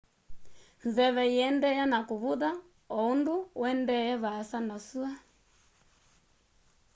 nzeve iendeeaa na kuvutha o undu uendete vaasa na sua